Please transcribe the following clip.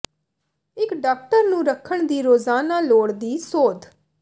ਇੱਕ ਡਾਕਟਰ ਨੂੰ ਰੱਖਣ ਦੀ ਰੋਜ਼ਾਨਾ ਲੋੜ ਦੀ ਸੋਧ